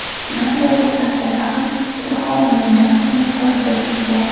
Nima bo‘lgan taqdirda ham Ilhom Mo‘minjonovni ko‘rib turibsizlar.